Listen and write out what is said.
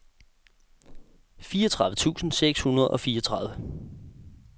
fireogtredive tusind seks hundrede og fireogtredive